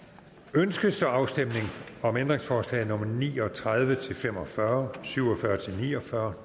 ønskes der afstemning om ændringsforslag nummer ni og tredive til fem og fyrre syv og fyrre til ni og fyrre